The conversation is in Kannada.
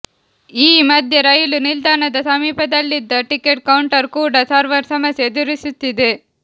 ಈ ಮಧ್ಯೆ ರೈಲು ನಿಲ್ದಾಣದ ಸಮೀಪದಲ್ಲಿದ್ದ ಟಿಕೆಟ್ ಕೌಂಟರ್ ಕೂಡ ಸರ್ವರ್ ಸಮಸ್ಯೆ ಎದುರಿಸುತ್ತಿದೆ